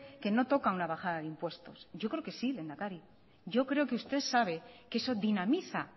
que no toca una bajada de impuestos yo creo que sí lehendakari yo creo que usted sabe que eso dinamiza